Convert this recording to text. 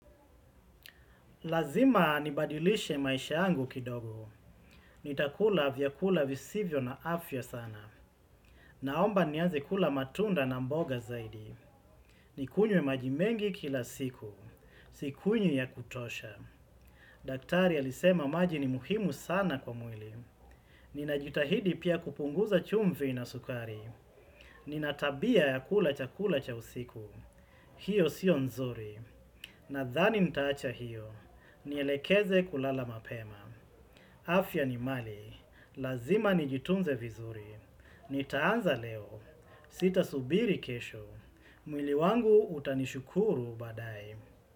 Lazima nibadilishe maisha yangu kidogo, nitakula vyakula visivyo na afya sana, naomba nianze kula matunda na mboga zaidi, nikunywe maji mengi kila siku, nikunywe ya kutosha. Daktari alisema maji ni muhimu sana kwa mwili, ninajitahidi pia kupunguza chumvi na sukari, nina tabia ya kula chakula cha usiku, hiyo sio nzuri. Nadhani nitaacha hiyo, nyilekeze kulala mapema. Afya ni mali, lazima nijitunze vizuri. Nitaanza leo, sita subiri kesho. Mwili wangu utanishukuru badae.